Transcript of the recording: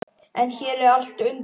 En hér er allt undir.